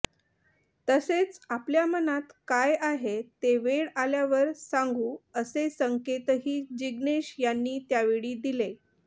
तसेच आपल्या मनात काय आहे ते वेळ आल्यावर सांगू असे संकेतही जिग्नेश यांनी त्यावेळी दिले